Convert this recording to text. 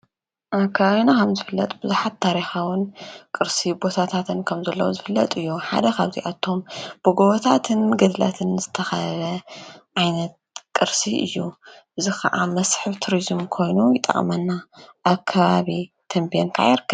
ኣካኣዮና ኻም ዝፍለጥ ብዙኃት ታሪኻዉን ቕርሲ ቦታታትን ከም ዘለዉ ዝፍለጥ እዩ። ሓደኻብ ዚኣቶም ብጐወታትን ግድለትን ዝተኸበ ዓይነት ቕርሲ እዩ። ዝኸዓ መስሒብ ቱርዝም ኮይኑ ይጣእመና ኣከባብ ተንጵን ይርከብ።